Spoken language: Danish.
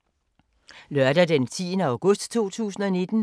Lørdag d. 10. august 2019